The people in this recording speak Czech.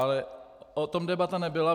Ale o tom debata nebyla.